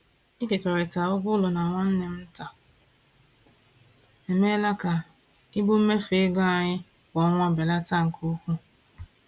Ịkekọrịta ụgwọ ụlọ na nwanne m nta emeela ka ibu mmefu ego anyị kwa ọnwa belata nke ukwuu.